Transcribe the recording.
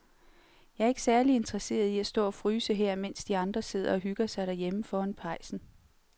Jeg er ikke særlig interesseret i at stå og fryse her, mens de andre sidder og hygger sig derhjemme foran pejsen.